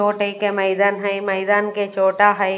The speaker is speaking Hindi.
दो टाइप के मैइदान है मैइदान के छोटा है।